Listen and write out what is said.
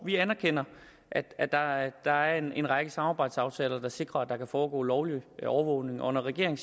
vi anerkender at der at der er en række samarbejdsaftaler der sikrer at der kan foregå lovlig overvågning og når regeringen